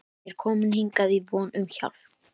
Ég er kominn hingað í von um hjálp.